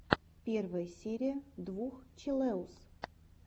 первая серия двух челэуз